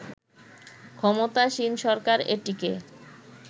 ক্ষমতাসীন সরকার এটিকে